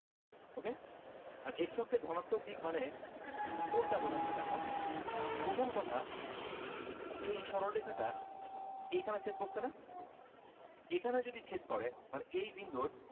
okey আর x অক্ষে ধনাত্মক দিক মানে কোনটা বুঝাচ্ছে দেখো প্রথম কথা এই সরল রেখাটা এখানে ছেদ করছে না। এখানে যদি ছেদ করে তাহলে এই বিন্দুর